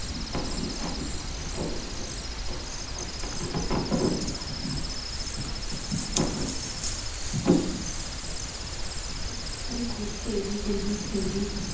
deep খালি ঘুরছে এইদিক ঐদিক সেইদিক